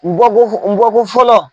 U bɔko u bɔko fɔlɔ.